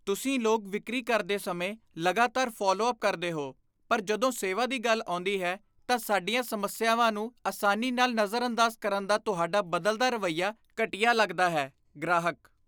ਤੁਸੀਂ ਲੋਕ ਵਿਕਰੀ ਕਰਦੇ ਸਮੇਂ ਲਗਾਤਾਰ ਫਾਲਵੋਅੱਪ ਕਰਦੇ ਹੋ ਪਰ ਜਦੋਂ ਸੇਵਾ ਦੀ ਗੱਲ ਆਉਂਦੀ ਹੈ, ਤਾਂ ਸਾਡੀਆਂ ਸਮੱਸਿਆਵਾਂ ਨੂੰ ਆਸਾਨੀ ਨਾਲ ਨਜ਼ਰਅੰਦਾਜ਼ ਕਰਨ ਦਾ ਤੁਹਾਡਾ ਬਦਲਦਾ ਰਵੱਈਆ ਘਟੀਆ ਲੱਗਦਾ ਹੈ ਗ੍ਰਾਹਕ